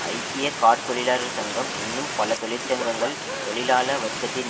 ஐக்கிய கார்த் தொழிலாளர் சங்கம் இன்னும் பல தொழிற்சங்கங்கள் தொழிலாள வர்க்கத்தின்